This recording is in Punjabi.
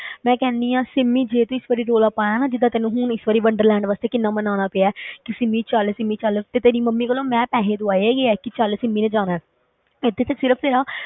ਮੈਂ ਕਹਿੰਦੀ ਹਾਂ ਸਿਮੀ ਜੇ ਤੂੰ ਇਸ ਵਾਰੀ ਰੌਲਾ ਪਾਇਆ ਨਾ, ਜਿੱਦਾਂ ਤੈਨੂੰ ਹੁਣ ਇਸ ਵਾਰੀ ਵੰਡਰਲੈਂਡ ਵਾਸਤੇ ਕਿੰਨਾ ਮਨਾਉਣਾ ਪਿਆ ਕਿ ਸਿਮੀ ਚੱਲ ਸਿਮੀ ਚੱਲ ਤੇ ਤੇਰੀ ਮੰਮੀ ਕੋਲੋਂ ਮੈਂ ਪੈਸੇ ਦਵਾਏ ਹੈਗੇ ਆ ਕਿ ਚੱਲ ਸਿਮੀ ਨੇ ਜਾਣਾ ਹੈ ਇੱਥੇ ਤੇ ਸਿਰਫ਼ ਤੇਰਾ